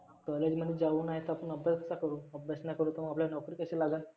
college मध्ये जाऊन नाहीतर आपण अभ्यास का करु, अभ्यास नाही करु तर आपल्याला नोकरी कशी लागल?